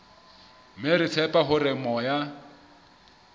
mme re tshepa hore moya